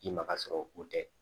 I ma ka sɔrɔ o tɛ